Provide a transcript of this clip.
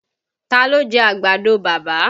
Taa ló jẹ́ àgbàdo bàbá?